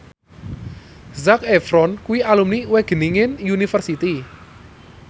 Zac Efron kuwi alumni Wageningen University